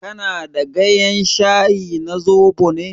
Kana da gayen shayi na zobo ne?